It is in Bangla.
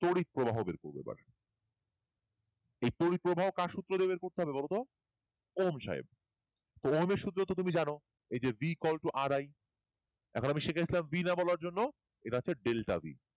তড়িৎ প্রবাহ বের করবো এবার এই তড়িৎ প্রবাহ কার সূত্র দিয়ে বের করতে হবে বলতো ওম সাহেব ওহমের সূত্র তো তুমি জানো এই v equal to r i এখন আমি সেটাই b নামানোর জন্য এটা আছে ডেলটা b